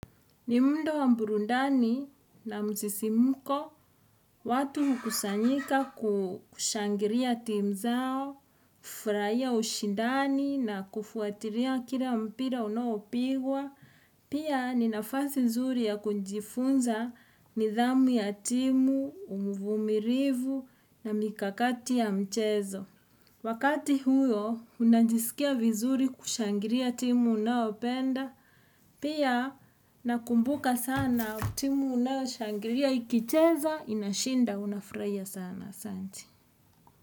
Ni muundo wa burundani na msisimuko, watu kusanyika kushangilia timu zao, kufurahia ushidani na kufuatilia kila mpira unaopigwa. Pia ni nafasi nzuri ya kujifunza nidhamu ya timu, uvumilivu na mikakati ya mchezo. Wakati huo, unajisikia vizuri kushangilia timu unaopenda. Pia nakumbuka sana timu unayoshangilia Ikicheza inashinda Unafurahia sana.